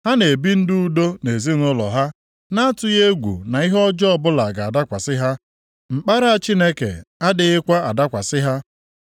Ha na-ebi ndụ udo nʼezinaụlọ ha na-atụghị egwu na ihe ọjọọ ọbụla ga-adakwasị ha; mkpara Chineke adịghịkwa adakwasị ha.